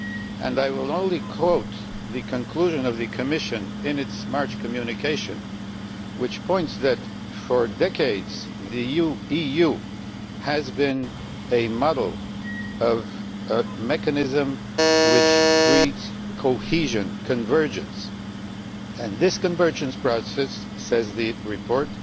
And I will only quote the conclusion of the Commission in its March Communication, which pointed out that for decades the EU has been a model of a mechanism which breeds cohesion and convergence, and this convergence process, says the report,